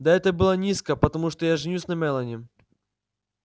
да это было низко потому что я женюсь на мелани